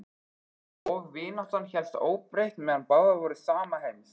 Og vináttan hélst óbreytt meðan báðar voru sama heims.